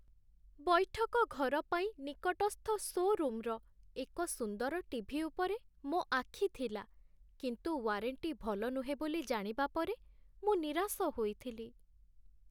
ବୈଠକ ଘର ପାଇଁ ନିକଟସ୍ଥ ଶୋ'ରୁମ୍‌ର ଏକ ସୁନ୍ଦର ଟେଲିଭିଜନ୍ ଉପରେ ମୋ ଆଖି ଥିଲା, କିନ୍ତୁ ୱାରେଣ୍ଟି ଭଲ ନୁହେଁ ବୋଲି ଜାଣିବା ପରେ ମୁଁ ନିରାଶ ହୋଇଥିଲି।